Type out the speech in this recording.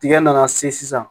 Tigɛ nana se sisan